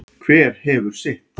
Hver hefur sitt.